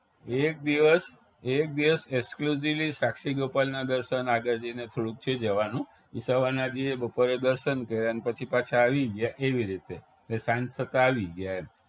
એક દિવસ એક દિવસ exclusively સાક્ષી ગોપાલના દર્શન આગળ જઈને થોડુક છે જવાનું ઈ સવારના જઈએ બપોરે દર્શન કર્યાને પછી પાછા આવી ગયા એવી રીતે એટલે સાંજ થતા આવી ગયા એમ